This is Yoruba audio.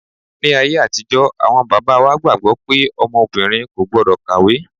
Ní ayé àtijọ́ awọn bàbá wa gbàgbọ́ pé ọmọ obìnrin kò gbọ́dọ̀ kàwé.